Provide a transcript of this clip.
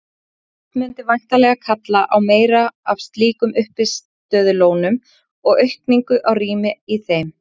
Slíkt mundi væntanlega kalla á meira af slíkum uppistöðulónum og aukningu á rými í þeim.